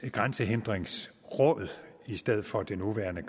grænsehindringsråd i stedet for det nuværende